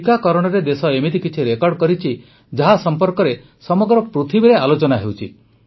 ଟିକାକରଣରେ ଦେଶ ଏମିତି କିଛି ରେକର୍ଡ କରିଛି ଯାହା ସମ୍ପର୍କରେ ସମଗ୍ର ପୃଥିବୀରେ ଆଲୋଚନା ହେଉଛି